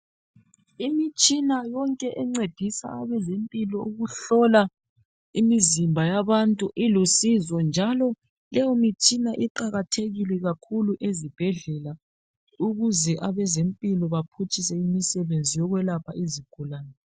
Imitshina yonke encedisa abezempilo ukuhlola imizimba yabantu ilusizo njalo leyomitshina iqakathekile kakhulu ezibhedlela ukuze abezempilo baphutshise imisebenzi yokwelapha izigulane.